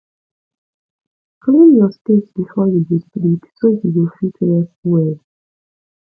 clean your space before you go sleep so you go fit rest well